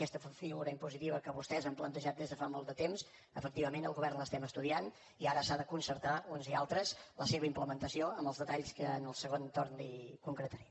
aquesta figura impositiva que vostès han plantejat des de fa molt de temps efectivament al govern l’estem estudiant i ara s’ha de concertar uns i altres la seva implementació amb els detalls que en el segon torn li concretaré